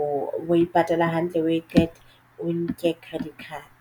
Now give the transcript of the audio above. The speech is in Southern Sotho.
o e patala hantle o e qeta o nke credit card.